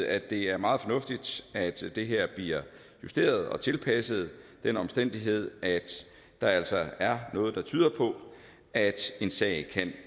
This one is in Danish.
at det er meget fornuftigt at det her bliver justeret og tilpasset den omstændighed at der altså er noget der tyder på at en sag kan